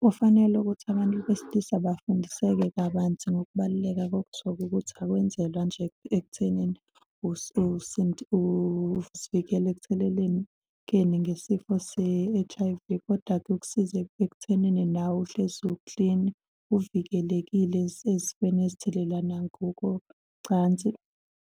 Kufanele ukuthi abantu besilisa bafundiseke kabanzi ngokubaluleka kokusoka, ukuthi akwenzelwa nje ekuthenini uzivikela ekuthelelekeni ngesifo se-H_I_V, kodwa kuyokusiza ekuthenini nawe uhlezi uklini, uvikelekile ezifweni ezithelelana ngokocansi.